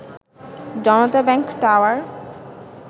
Janata bank tower